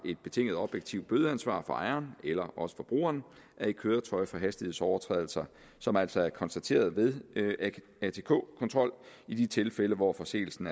et betinget objektivt bødeansvar for ejeren eller også forbrugeren af et køretøj for hastighedsovertrædelser som altså er konstateret ved atk kontrol i de tilfælde hvor forseelsen